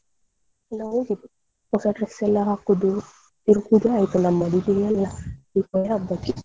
ಎಲ್ಲ ಹೋಗಿದೆ ಹೊಸ dress ಎಲ್ಲ ಹಾಕುದು ತಿರ್ಗುದೇ ಆಯ್ತು ನಮ್ಮದು Deepavali ಹಬ್ಬಕ್ಕೆ.